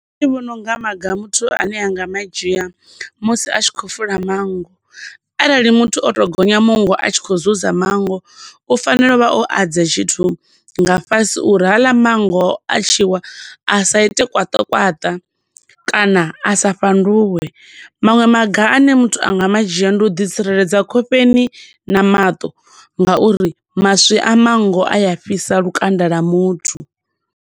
Nṋe ndi vhona unga maga muthu ane a nga madzhia musi a tshi khou fula mango, arali muthu o to gonya mungo a tshi khou zuza mango, u fanela u vha o adza tshithu nga fhasi uri haḽa mango a tshi wa a sa ite kwaṱakwaṱa, kana a sa fhanduwe. Maṅwe maga ane muthu a nga ma dzhia ndi u ḓi tsireledza khofheni na maṱo nga uri maswi a mango a afhisa lukanda lwa muthu.